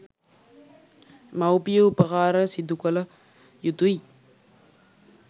මවුපිය උපකාරය සිදු කළ යුතුයි